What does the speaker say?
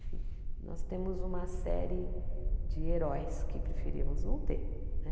Nós temos uma série de heróis que preferíamos não ter, né?